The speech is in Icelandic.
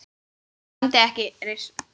Það sæmdi ekki reisn þinni.